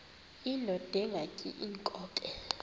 indod ingaty iinkobe